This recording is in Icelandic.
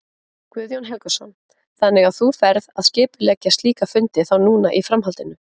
Guðjón Helgason: Þannig að þú ferð að skipuleggja slíka fundi þá núna í framhaldinu?